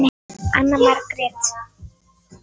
Anna Margrét